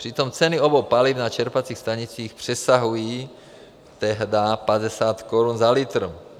Přitom ceny obou paliv na čerpacích stanicích přesahují tehdy 50 Kč za litr.